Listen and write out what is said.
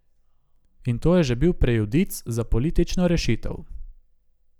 In to je že bil prejudic za politično rešitev.